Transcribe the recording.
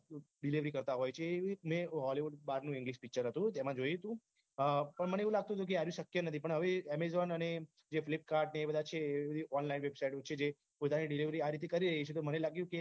delivery કરતા હોય છે મેં hollywood બાર નું english picture હતું તેમાં જોયું હતું અ પણ મને એવું લાગતું હતું કે આર્યુ શક્ય નથી પણ હવે amazon અને જે flipkart જે બધા છે એ online website છે જે પોતાની delivery આ ર્રીતે કરે તો મને લાગ્યું